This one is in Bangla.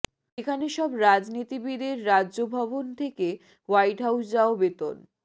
এখানে সব রাজনীতিবিদ এর রাজ্য ভবনে থেকে হোয়াইট হাউস যাও বেতন